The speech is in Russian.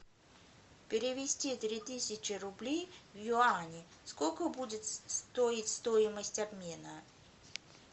перевести три тысячи рублей в юани сколько будет стоить стоимость обмена